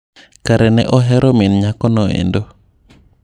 Kare ne ohero min nyako no endo.